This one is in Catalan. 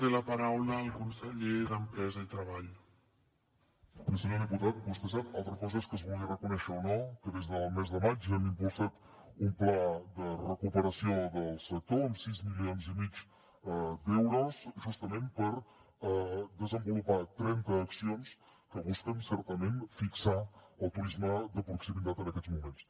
bé senyor diputat vostè sap altra cosa és que es vulgui reconèixer o no que des del mes de maig hem impulsat un pla de recuperació del sector amb sis milions i mig d’euros justament per desenvolupar trenta accions que busquen certament fixar el turisme de proximitat en aquests moments